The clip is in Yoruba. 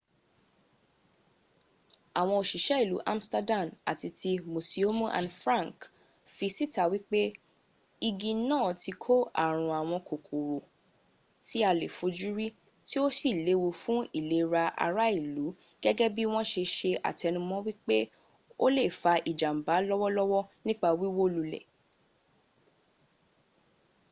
àwọn òsìsé ìlú amsterdam àti ti musiomu anne frank fi síta wípé igi náà ti kó ààrùn àwọn kòkòrò tí a lè fojúrí tí o si léwu fún ìlera ara ìlú gẹ́gẹ́ bí wọn se se àtẹnumọ́ wípé o lè fa ìjàmbà lọ́wọ́lọ́wọ́ nípa wíwó lulẹ̀